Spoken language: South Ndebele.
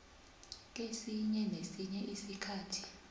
kesinye nesinye isikhathi